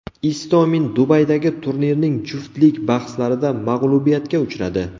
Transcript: Istomin Dubaydagi turnirning juftlik bahslarida mag‘lubiyatga uchradi.